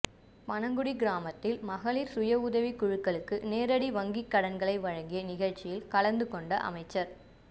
பனங்குடி கிராமத்தில் மகளிர் சுய உதவிக் குழுக்களுக்கு நேரடி வங்கிக் கடன்களை வழங்கிய நிகழ்ச்சியில் கலந்து கொண்ட அமைச்சர்